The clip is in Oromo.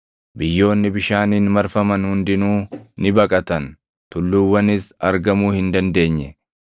Biyyoonni bishaaniin marfaman hundinuu ni baqatan; tulluuwwanis argamuu hin dandeenye.